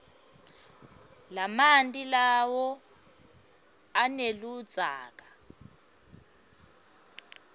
lamanti lawa aneludzaka